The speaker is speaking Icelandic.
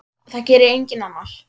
Það gerir enginn annar.